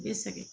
Bɛ sɛgɛn